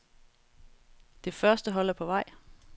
Det første hold er på vej.